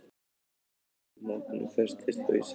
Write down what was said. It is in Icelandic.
Hvorugt nafnið festist þó í sessi.